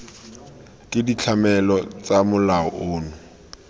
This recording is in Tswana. ke ditlamelo tsa molao ono